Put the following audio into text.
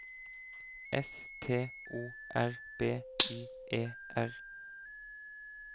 S T O R B Y E R